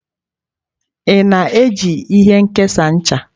Ị na-eji ihe nkesa ncha?